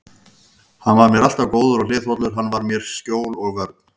Hann var mér alltaf góður og hliðhollur, hann var mér skjól og vörn.